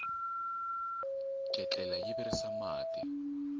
ketlela yi virisa mati